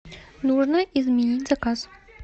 нужно изменить заказ